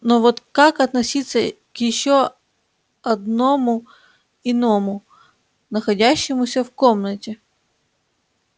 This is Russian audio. но вот как относиться к ещё одному иному находящемуся в комнате